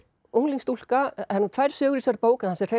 unglingsstúlka það eru nú tvær sögur í þessari bók en það sem hreif